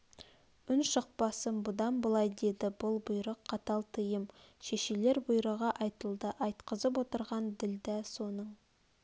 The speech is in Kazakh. үн шықпасын бұдан былай деді бұл бұйрық қатал тыйым шешелер бұйрығы айтылды айтқызып отырған ділдә соның